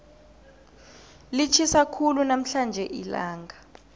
litjhisa khulu namhlanje ilanga